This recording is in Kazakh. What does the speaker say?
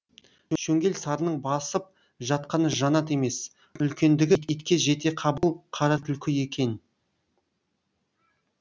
шөңгел сарының басып жатқаны жанат емес үлкендігі итке жетеқабыл қара түлкі екен